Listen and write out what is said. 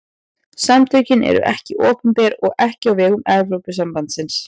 Samtökin eru ekki opinber og ekki á vegum Evrópusambandsins.